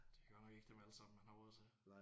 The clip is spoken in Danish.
Det er godt nok ikke dem alle sammen man har råd til